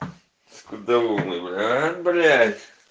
скудоумный аа блять